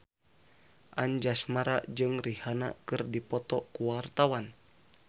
Anjasmara jeung Rihanna keur dipoto ku wartawan